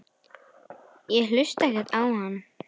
Ég hlusta ekkert á hann.